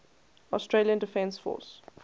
australian defence force